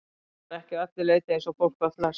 Hann var ekki að öllu leyti eins og fólk var flest.